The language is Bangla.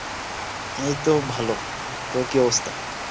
এই তো ভালও। তোর কি অবস্তা?